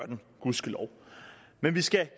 den gudskelov men vi skal